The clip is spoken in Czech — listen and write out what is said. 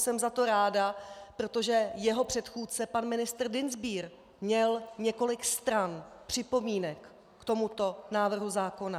Jsem za to ráda, protože jeho předchůdce pan ministr Dienstbier měl několik stran připomínek k tomuto návrhu zákona.